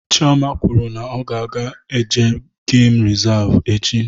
Chioma kwụrụ na-ọ ga eje geem resavu echi